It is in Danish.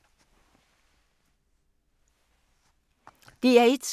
DR1